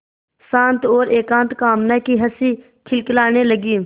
शांत और एकांत कामना की हँसी खिलखिलाने लगी